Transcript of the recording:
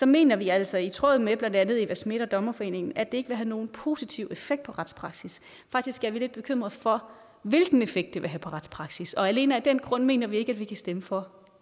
mener vi altså i tråd med blandt andet eva schmidt og dommerforeningen at det vil have nogen positiv effekt på retspraksis faktisk er vi lidt bekymrede for hvilken effekt det vil have på retspraksis og alene af den grund mener vi ikke at vi kan stemme for